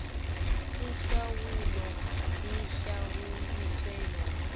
ihlawulo ahlawuliswe yona